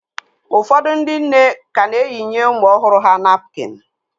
Ụfọdụ ndị nne ka na-eyinye ụmụ ọhụrụ ha napkịn